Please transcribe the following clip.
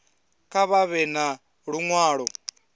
kha vha ḓe na luṅwalo